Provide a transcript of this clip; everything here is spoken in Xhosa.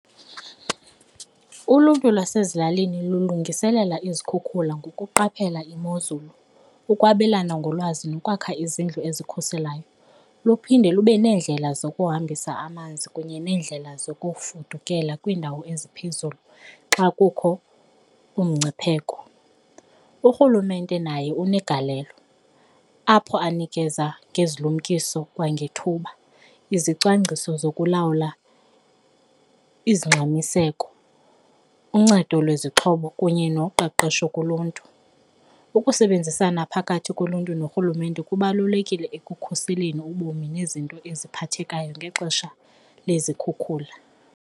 Uluntu lwasezilalini lilungiselela izikhukhula ngokuqaphelela imozulu, ukwabelana ngolwazi nokwakha izindlu ezikhuselayo, luphinde lube neendlela zokuhambisa amanzi kunye neendlela zokufudukela kwiindawo eziphezulu xa kukho umngcipheko. Urhulumente naye unegalelo apho anikeza ngezilumkisayo kwangethuba, izicwangciso zokulawula izingxamiseko, uncedo lwezixhobo kunye noqeqesho kuluntu. Ukusebenzisana phakathi koluntu norhulumente kubalulekile ekukhuseleni ubomi nezinto eziphathekayo ngexesha lezikhukhula.